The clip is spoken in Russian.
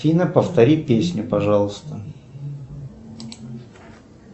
афина повтори песню пожалуйста